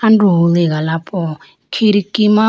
androho liga la po khidki ma.